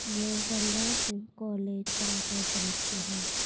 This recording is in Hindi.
यह गंगा सिंह कॉलेज का दृश्य हैं।